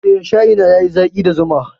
Eh, shayi na yayi zaƙi da zuma.